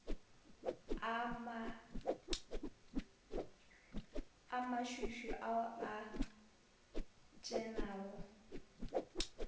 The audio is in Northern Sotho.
a mašwišwi ao a šenago